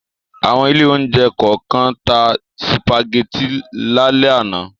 Àwọn ilé-oúnjẹ kọ̀ọ̀kan tá sìpàgẹ́tì lálẹ́ àná.